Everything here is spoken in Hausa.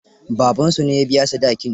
Babansu ne ya biya sadakin.